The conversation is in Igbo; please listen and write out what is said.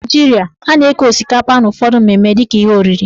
Na Naijiria, a na-eke osikapa n' ụfọdụ mmemme dịka ihe oriri.